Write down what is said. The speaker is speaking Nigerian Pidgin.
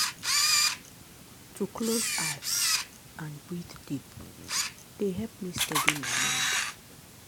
to close eye and breathe deep dey help me steady my mind.